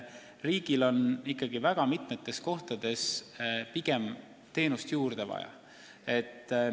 Riigil on väga mitmes kohas pigem teenust juurde vaja.